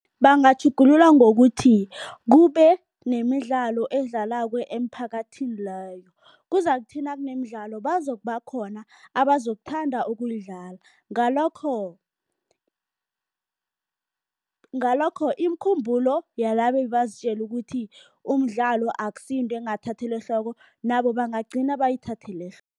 Bangatjhugulula ngokuthi, kube nemidlalo edlalwako emphakathini leyo. Kuzakuthi nakunemidlalo bazokuba khona abazokuthanda ukuyidlala, ngalokho ngalokho imikhumbulo yalaba ebebazitjela ukuthi umdlalo akusiyinto engathathelwa ehloko nabo bangagcina bayithathele